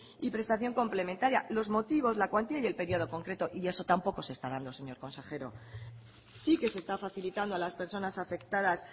y prestación complementaria los motivos la cuantía y el periodo concreto y eso tampoco se está dando señor consejero sí que se está facilitando a las personas afectadas